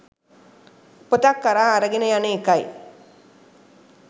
උපතක් කරා අරගෙන යන එකයි.